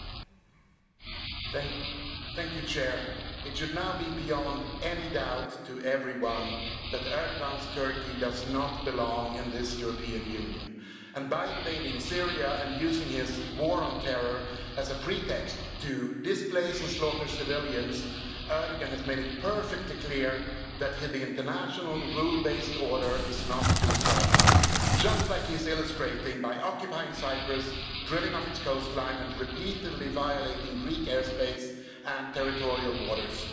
Madam President, it should now be beyond any doubt to everyone that Erdoğan's Turkey does not belong in this European Union, and by invading Syria and using his war on terror as a pretext to displace and slaughter civilians, Erdoğan has made it perfectly clear that the international rule based order is not to his liking just like he is illustrating by occupying Cyprus, drilling off its coastline and repeatedly violating Greek airspace and territorial waters.